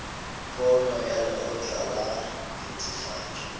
pono ya lekgotla la netefatšo